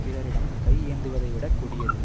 பிறரிடம் கை ஏந்துவதைவிடக் கொடியது